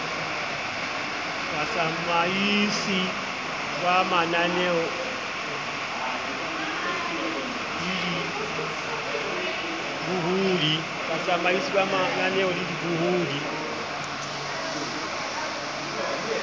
batsamaisi ba mananeo le dibohodi